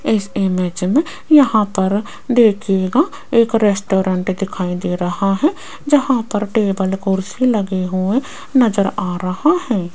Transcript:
इस इमेज मे यहां पर देखिएगा एक रेस्टोरेंट दिखाई दे रहा है जहां पर टेबल कुर्सी लगे हुए नजर आ रहा है।